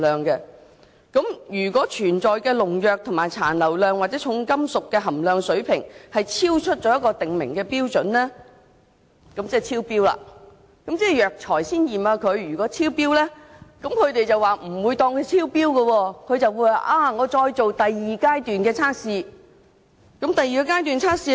如果發現當中的農藥殘留量或重金屬含量水平超出訂明的標準，這其實已等於超標，但藥材在這階段驗出的農藥及重金屬即使超標，也不會視作超標，而是會繼續進行第二階段的測試。